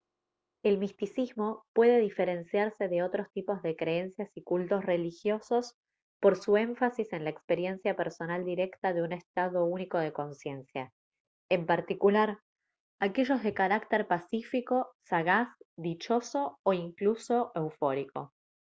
el misticismo puede diferenciarse de otros tipos de creencias y cultos religiosos por su énfasis en la experiencia personal directa de un estado único de consciencia en particular aquellos de carácter pacífico sagaz dichoso o incluso eufórico